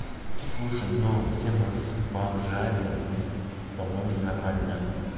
слушай но тема с бомжами по-моему нормальная